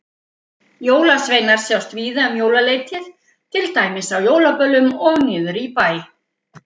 Jólasveinar sjást víða um jólaleytið, til dæmis á jólaböllum og niðri í bæ.